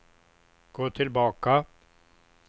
gå tillbaka